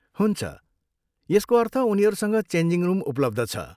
हुन्छ, यसको अर्थ उनीहरूसँग चेन्जिङ रुम उपलब्ध छ।